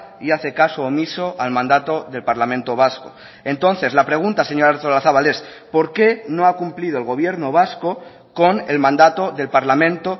y hace caso omiso al mandato del parlamento vasco entonces la pregunta señora artolazabal es porqué no ha cumplido el gobierno vasco con el mandato del parlamento